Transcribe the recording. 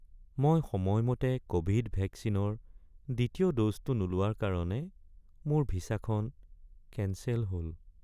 মই সময়মতে ক'ভিড ভেকচিনৰ দ্বিতীয় ড'জটো নোলোৱাৰ কাৰণে মোৰ ভিছাখন কেঞ্চেল হ'ল।